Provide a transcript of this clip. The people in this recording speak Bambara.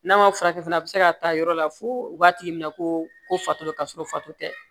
N'a ma furakɛ fana a bɛ se ka taa yɔrɔ la fo u b'a tigi minɛ ko fatɔ don ka sɔrɔ fato tɛ